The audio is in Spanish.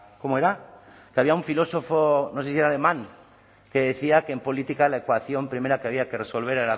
cómo era que había un filósofo no sé si era alemán que decía que en política la ecuación primera que había que resolver